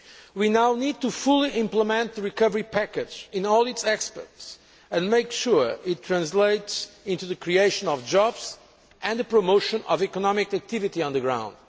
We now need to fully implement the recovery package in all its aspects and make sure it translates into the creation of jobs and the promotion of economic activity on the ground.